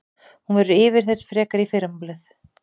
Hún verður yfirheyrð frekar í fyrramálið